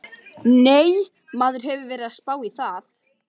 Nei, maður hefur verið að spá í það.